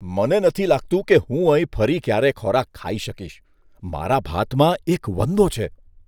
મને નથી લાગતું કે હું અહીં ફરી ક્યારેય ખોરાક ખાઈ શકીશ, મારા ભાતમાં એક વંદો છે.